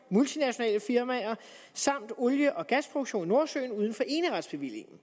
multinationale firmaer samt olie og gasproduktionen i nordsøen uden for eneretsbevillingen